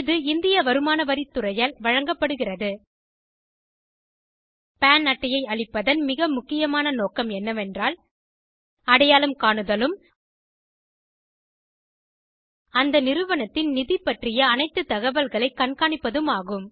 இது இந்திய வருமான வரி துறையால் வழங்கப்படுகிறது பான் அட்டை ஐ அளிப்பதன் மிக முக்கியமாக நோக்கம் என்னவென்றால் அடையாளம் காணுதலும் அந்த நிறுவனத்தின் நிதி பற்றிய அனைத்து தகவல்களை கண்காணிப்பதும் ஆகும்